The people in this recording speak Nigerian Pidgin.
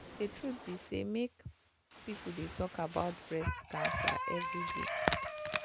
the truth be say make people dey talk about breast cancer everyday.